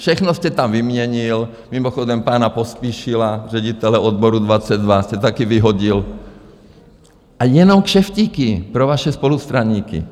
Všechno jste tam vyměnil, mimochodem pana Pospíšila, ředitele odboru 22, jste také vyhodil, a jenom kšeftíky pro vaše spolustraníky.